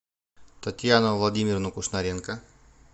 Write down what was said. татьяну владимировну кушнаренко